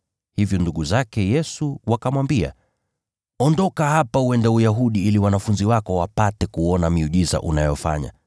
Hivyo ndugu zake Yesu wakamwambia, “Ondoka hapa uende Uyahudi ili wanafunzi Wako wapate kuona miujiza unayofanya.